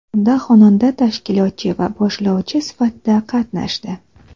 Unda xonanda tashkilotchi va boshlovchi sifatida qatnashdi.